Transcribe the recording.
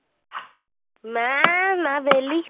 ਮੈਂ ਮੈਂ ਵਿਹਲੀ